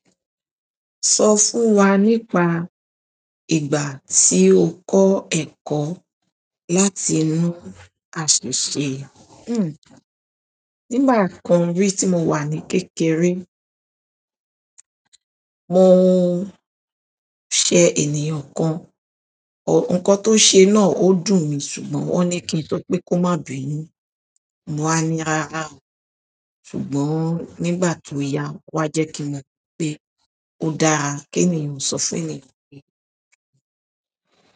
Sọ fún wa nípa ìgbà tí o kọ́ ẹ̀kọ́ láti inú àṣiṣẹ̀. Nígbà kan rí tí mo wà ní kékeré, mo ṣe ènìyàn kan, nǹkan tó ṣe náà ó dùn mi ṣùgbọ́n wọ́n ní kí n sọ pé kó má bínú. Mo wá ní rarà o, ṣùgbọ́n nígbà tó yá o wá jẹ́ kí mọ̀ pé ó dáa kí ènìyàn sọ fún ènìyàn pé.